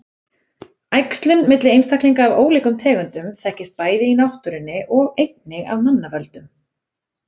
Æxlun milli einstaklinga af ólíkum tegundum þekkist bæði í náttúrunni og einnig af manna völdum.